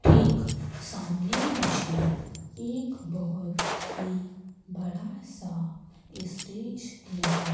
ठीक सामने मुझे एक बहोत ही बड़ा सा स्टेज नजर--